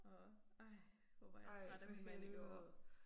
Og ej hvor var jeg træt af min mand i går